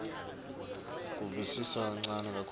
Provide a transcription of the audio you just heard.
kuvisisa lokuncane kakhulu